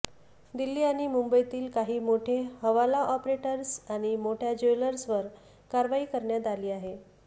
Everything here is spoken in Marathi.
दिल्ली आणि मुंबईतील काही मोठे हवाला ऑपरेटर्स आणि मोठ्या ज्वेलर्सवर कारवाई करण्यात आली आहे